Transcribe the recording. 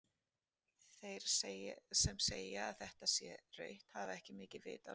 Þeir sem segja að þetta sé rautt hafa ekki mikið vit á leiknum.